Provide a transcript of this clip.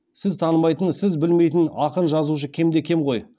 сіз танымайтын сіз білмейтін ақын жазушы кем де кем ғой